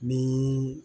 Ni